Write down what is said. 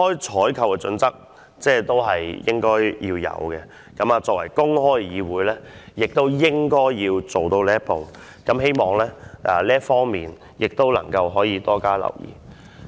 採購的準則應該要公開，作為公開的議會，應該做到這一步，希望要多加留意這方面。